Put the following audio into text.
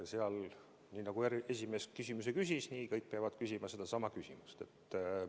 Seal on nii, et nagu esimees esimese küsimuse küsis, nii peavad kõik küsima sedasama küsimust.